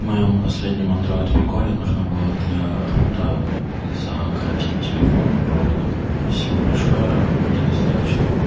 в моём последним андроид приколе нужна была для рута закоротить телефон проводом спасибо большое мне достаточно